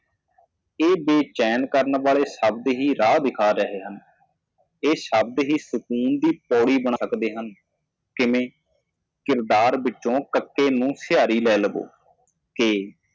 ਇਹ ਬੇਚੈਨ ਸ਼ਬਦ ਰਾਹ ਦਿਖਾਉਂਦੇ ਹਨ ਇਹ ਸ਼ਬਦ ਸ਼ਾਂਤੀ ਦੀ ਪੌੜੀ ਬਣਾਉਂਦੇ ਹਨ ਕਿਵੇਂ ਚਰਿੱਤਰ ਕਿਵੇਂ ਕਰੀਏ ਇੱਕ ਸਵਾਰੀ ਲਵੋ ਦੇ